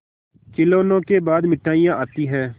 खिलौनों के बाद मिठाइयाँ आती हैं